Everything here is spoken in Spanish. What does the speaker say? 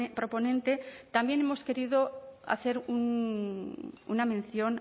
proponente también hemos querido hacer una mención